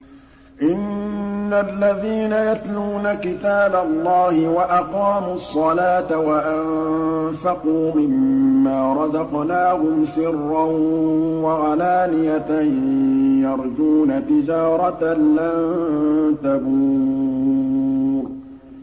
إِنَّ الَّذِينَ يَتْلُونَ كِتَابَ اللَّهِ وَأَقَامُوا الصَّلَاةَ وَأَنفَقُوا مِمَّا رَزَقْنَاهُمْ سِرًّا وَعَلَانِيَةً يَرْجُونَ تِجَارَةً لَّن تَبُورَ